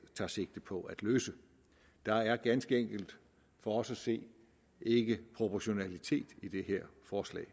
tager sigte på at løse der er ganske enkelt for os at se ikke proportionalitet i det her forslag